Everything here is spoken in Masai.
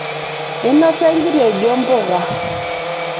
einosa enkitejo mpuka